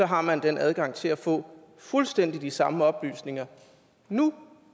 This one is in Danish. har man adgang til at få fuldstændig de samme oplysninger nu